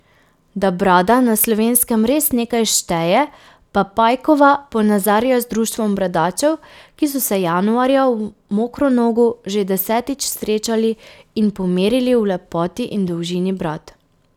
Da brada na Slovenskem res nekaj šteje, pa Pajkova ponazarja z društvom bradačev, ki so se januarja v Mokronogu že desetič srečali in pomerili v lepoti in dolžini brad.